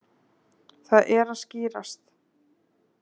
Það er að skýrast.